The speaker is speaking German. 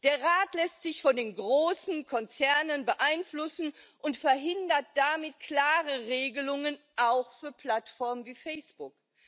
Der Rat lässt sich von den großen Konzernen beeinflussen und verhindert damit klare Regelungen auch für Plattformen wie Facebook.